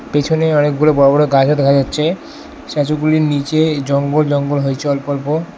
পেছনে অনেকগুলো বড় বড় গাছও দেখা যাচ্ছে স্ট্যাচু গুলির নীচে জঙ্গল জঙ্গল হয়েছে অল্প অল্প।